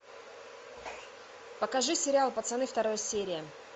покажи сериал пацаны вторая серия